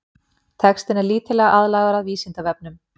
textinn er lítillega aðlagaður vísindavefnum